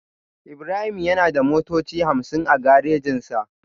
Ibrahim yana da motoci hamsin a garejinsa